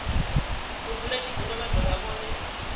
mudzulatshidulo vha do vha vhone